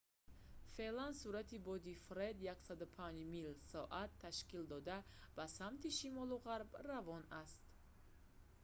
феълан суръати бодии «фред» 105 мил/соат 165 км/соат ташкил дода ба самти шимолу ғарб равон аст